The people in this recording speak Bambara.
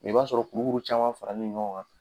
I b'a sɔrɔ kurukuru caman farani ɲɔgɔn kan.